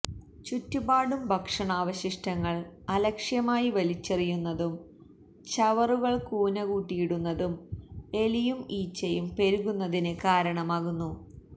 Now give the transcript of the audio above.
ചുറ്റുപാടും ഭക്ഷണാവശിഷ്ടങ്ങള് അലക്ഷ്യമായി വലിച്ചെറിയുന്നതും ചവറുകള് കൂനകൂട്ടിയിടുന്നതും എലിയും ഈച്ചയും പെരുകുന്നതിന് കാരണമാകുന്നു